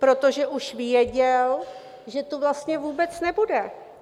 Protože už věděl, že tu vlastně vůbec nebude!